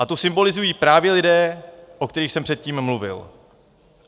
A tu symbolizují právě lidé, o kterých jsem předtím mluvil.